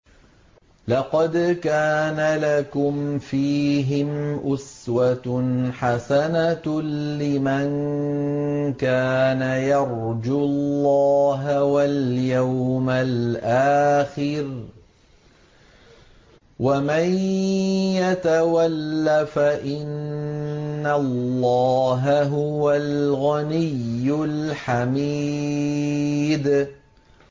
لَقَدْ كَانَ لَكُمْ فِيهِمْ أُسْوَةٌ حَسَنَةٌ لِّمَن كَانَ يَرْجُو اللَّهَ وَالْيَوْمَ الْآخِرَ ۚ وَمَن يَتَوَلَّ فَإِنَّ اللَّهَ هُوَ الْغَنِيُّ الْحَمِيدُ